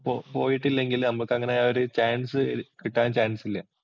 പോയിട്ടില്ലെങ്കിൽ നമുക്ക് അങ്ങനെ ആ ഒരു ചാന്‍സ് കിട്ടാന്‍ ചാന്‍സ് ഇല്ല.